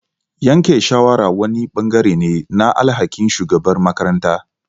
yanke shawara wani ɓangare ne na alhakin shugabar makaranta.